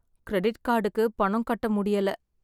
Credit கார்டுக்கு பணம் கட்ட முடியல.